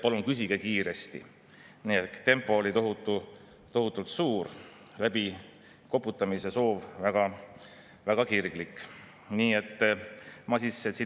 Ma toon välja ka mõningad argumendid, mida õiguskomisjoni istungil 15 päeva tagasi arutati, aga kuna valitsus võttis parlamendi käest ära sellise menetlemise õiguse ja rammis usaldushääletusega siia parlamenti sisse, siis kõik need õiguskomisjoni argumendid on ju jäänud avalikkuse ees korralikult.